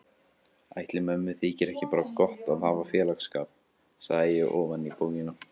Ætli mömmu þyki ekki bara gott að hafa félagsskap, sagði ég ofan í bókina.